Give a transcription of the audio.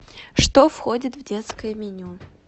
что входит в детское меню